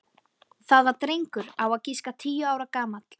Það var drengur á að giska tíu ára gamall.